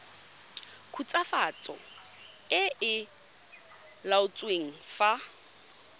khutswafatso e e laotsweng fa